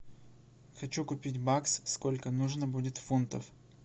хочу купить бакс сколько нужно будет фунтов